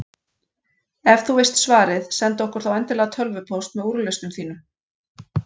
Ef þú veist svarið, sendu okkur þá endilega tölvupóst með úrlausnum þínum.